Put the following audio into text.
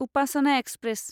Upasana express